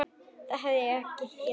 Það hefði ég ekki gert.